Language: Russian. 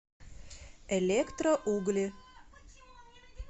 электроугли